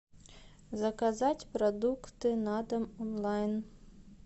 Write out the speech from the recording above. заказать продукты на дом онлайн